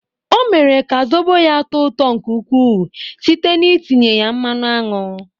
Ọ mere ka zobo ya tọọ ụtọ nke ukwuu site n'itinye ya mmanụ aṅụ.